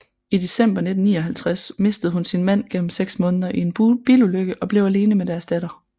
I december 1959 mistede hun sin mand gennem seks måneder i en bilulykke og blev alene med deres datter